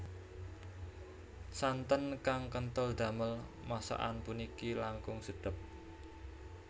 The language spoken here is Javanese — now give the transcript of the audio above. Santen kang kentel damel masakan puniki langkung sedep